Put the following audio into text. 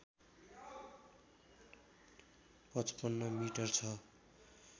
५५ metre छ